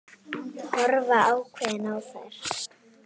Horfa ákveðin á þær.